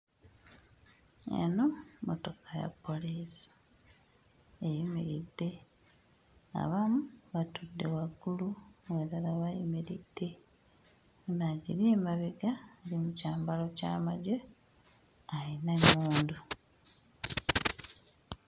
Eno mmotoka ya poliisi eyimiridde, abamu batudde waggulu abalala bayimiridde. Ono agiri emabega ali mu kyambalo ky'amagye ayina emmundu.